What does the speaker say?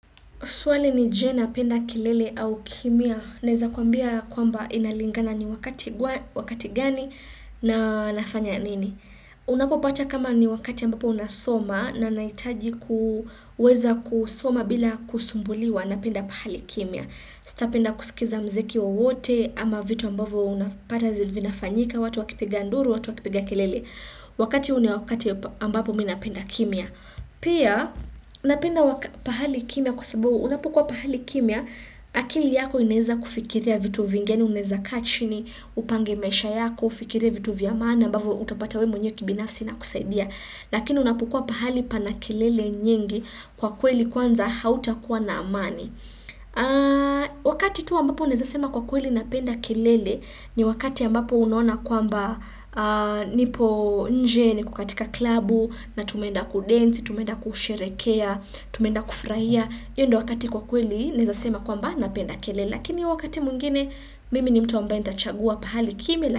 Swali ni jee napenda kelele au kimya. Naeza kuambia kwamba inalingana ni wakati gani na nafanya nini. Unapopata kama ni wakati ambapo unasoma na nahitaji kuweza kusoma bila kusumbuliwa napenda pahali kimya. Sitapenda kusikiza mziki wowote ama vitu ambavyo unapata vinafanyika. Watu wakipiga nduru, watu wakipiga kilele. Wakati huu ni wakati ambapo mimi napenda kimya. Pahali kimya, kwa sababu unapkua pahali kimya, akili yako inaeza kufikiria vitu vingi, unaeza kaa chini, upange maisha yako, ufikirie vitu vya maana, ambavyo utapata wewe mwenye kibinafsi inakusaidia. Lakini unapokua pahali pana kelele nyingi kwa kweli kwanza hautakuwa na amani. Wakati tu ambapo naeza sema kwa kweli napenda kelele ni wakati ambapo unaona kwamba nipo nje niko katika klabu na tumwenda kudensi, tumeenda kusherehekea, tumeenda kufurahia hiyo ndo wakati kwa kweli naeza sema kwamba napenda kelele lakini wakati mwingine mimi ni mtu ambaye nitachagua pahali kimya.